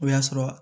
O y'a sɔrɔ